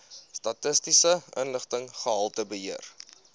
statistiese inligting gehaltebeheer